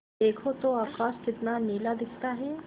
देखो तो आकाश कितना नीला दिखता है